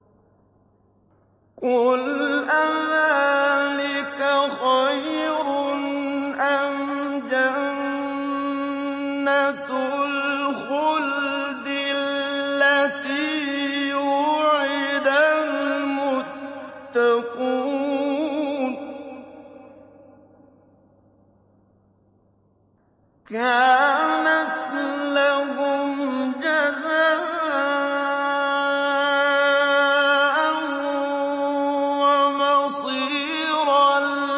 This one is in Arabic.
قُلْ أَذَٰلِكَ خَيْرٌ أَمْ جَنَّةُ الْخُلْدِ الَّتِي وُعِدَ الْمُتَّقُونَ ۚ كَانَتْ لَهُمْ جَزَاءً وَمَصِيرًا